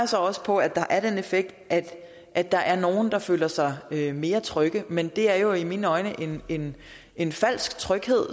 så også på at der er den effekt at at der er nogle der føler sig mere trygge men det er jo i mine øjne en en falsk tryghed